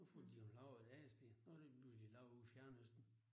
Nu får de jo lavet et andet sted. Nu de lige pludselig lavet ude i fjernøsten